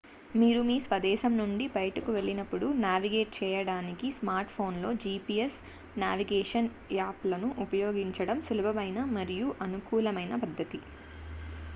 మీరు మీ స్వదేశం నుండి బయటకు వెళ్ళినపుడు నావిగేట్ చెయ్యడానికి స్మార్ట్ఫోన్లో gps నావిగేషన్ యాప్లను ఉపయోగించడం సులభమైన మరియు అనుకూలమైన పద్ధతి